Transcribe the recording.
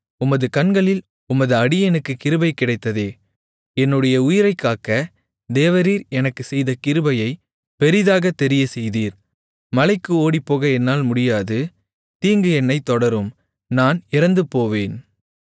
உமது கண்களில் உமது அடியேனுக்குக் கிருபை கிடைத்ததே என்னுடைய உயிரைக் காக்கத் தேவரீர் எனக்குச் செய்த கிருபையைப் பெரிதாக தெரியச்செய்தீர் மலைக்கு ஓடிப்போக என்னால் முடியாது தீங்கு என்னைத் தொடரும் நான் இறந்துபோவேன்